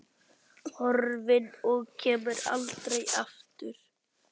Horfin og kemur aldrei aftur.